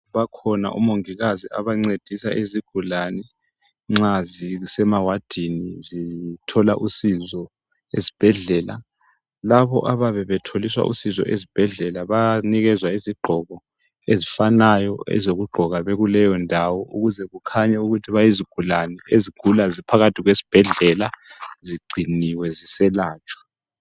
Bakhona omongikazi abancedisa izigulani nxa zisemawadini zithola usizo esibhedlela. Labo abayabe betholiswa usizo ezibhedlela bayanikezwa izigqoko ezifanayo ezokugqoka bekuleyo ndawo ukuze kubonakale ukuthi yizigulani ezigula ziphakathi kwesibhedlela zigciniwe ziselatshwa.